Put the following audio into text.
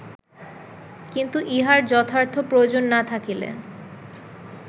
কিন্তু ইহার যথার্থ প্রয়োজন না থাকিলে